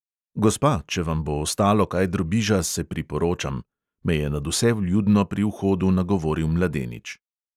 Gospa, če vam bo ostalo kaj drobiža, se priporočam, me je nadvse vljudno pri vhodu nagovoril mladenič.